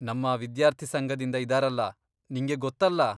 ನಮ್ಮ ವಿದ್ಯಾರ್ಥಿ ಸಂಘದಿಂದ ಇದಾರಲ, ನಿಂಗೆ ಗೊತ್ತಲ್ಲ.